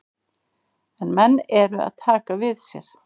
En menn eru að taka við sér.